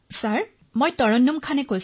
তৰন্নুম খানঃ মই তৰন্নুমে কৈ আছো